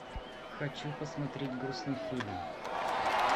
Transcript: хочу посмотреть грустный фильм